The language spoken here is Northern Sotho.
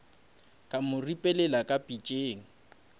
ka mo ripelela ka pitšeng